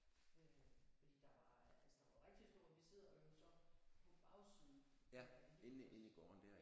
Øh fordi der var altså der var rigtig stor vi sidder jo så på bagsiden af Helios